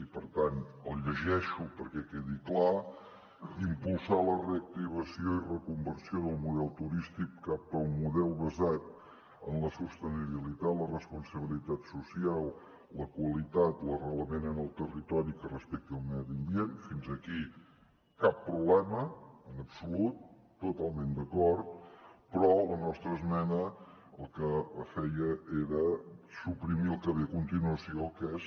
i per tant el llegeixo perquè quedi clar impulsar la reactivació i reconversió del model turístic cap a un model basat en la sostenibilitat la responsabilitat social la qualitat l’arrelament en el territori i que respecti el medi ambient fins aquí cap problema en absolut totalment d’acord però la nostra esmena el que feia era suprimir el que ve a continuació que és